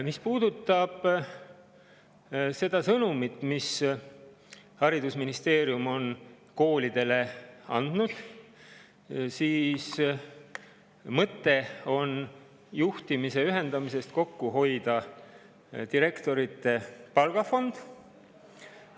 Mis puudutab seda sõnumit, mille haridusministeerium on koolidele andnud, siis juhtimise ühendamise mõte on kokku hoida direktorite palgafondi pealt.